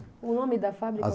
O nome da fábrica?